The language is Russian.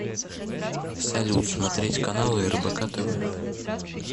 салют смотреть каналы рбк тв